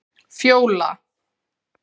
Fjóla